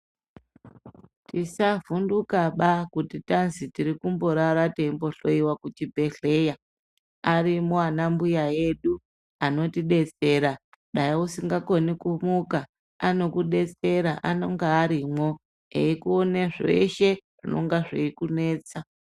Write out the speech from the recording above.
Tisavhundukaba kuti tazi tiri kumborara teihloyiwa muchibhedhleya. Ariko anambuya edu anotidetsera, dai usingakoni kumuka, anokudetsera anonga arimwo, eikuone zveshe zvingakunetsa.